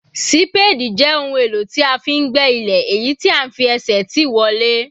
Sípáádì jẹ́ ohun èlò tí a fi ń gbẹ́ ilẹ̀, èyí tí à ń fi ẹsẹ̀ tì wọlẹ̀.